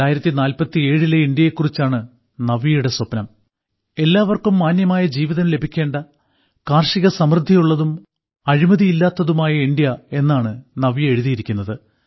2047 ലെ ഇന്ത്യയെക്കുറിച്ചാണ് നവ്യയുടെ സ്വപ്നം എല്ലാവർക്കും മാന്യമായ ജീവിതം ലഭിക്കേണ്ട കാർഷിക സമൃദ്ധിയുള്ളതും അഴിമതിയില്ലാത്തതുമായ ഇന്ത്യയെന്നാണ് നവ്യ എഴുതിയിരിക്കുന്നത്